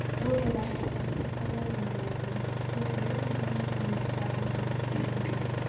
No, ĩrabatara tũkorwo na mawatho ma kĩrĩu marĩa maranyita mbaru makinya maya.